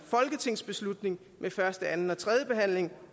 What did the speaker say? folketingsbeslutning med første anden og tredje behandling